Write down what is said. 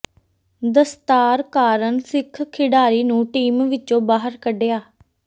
ਦਸਤਾਰ ਕਾਰਨ ਸਿੱਖ ਖਿਡਾਰੀ ਨੂੰ ਟੀਮ ਵਿਚੋਂ ਬਾਹਰ ਕੱਿਢਆ